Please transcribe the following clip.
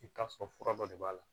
I bɛ t'a sɔrɔ fura dɔ de b'a la